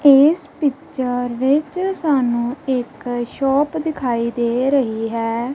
ਇਸ ਪਿਚਰ ਵਿੱਚ ਸਾਨੂੰ ਇੱਕ ਸ਼ੋਪ ਦਿਖਾਈ ਦੇ ਰਹੀ ਹੈ।